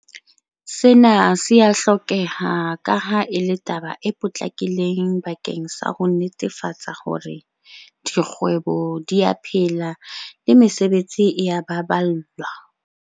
Sena se a hlokeha kaha e le taba e potlakileng bakeng sa ho netefatsa hore dikgwebo di a phela le mesebetsi e a baballwa.